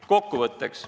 Kokkuvõtteks.